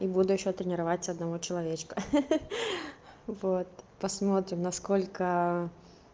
и буду ещё тренировать одного человечка хе-хе вот посмотрим насколько